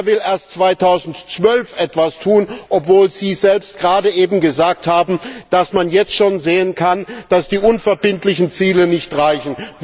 Er will erst 2012 etwas tun, obwohl Sie selbst gerade eben gesagt haben, dass man jetzt schon sehen kann, dass die unverbindlichen Ziele nicht reichen.